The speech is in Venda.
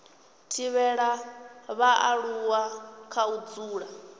thivhela vhaaluwa kha u dzula